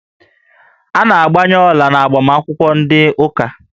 A na-agbanye ọla n'agbamakwụkwọ ndị ụka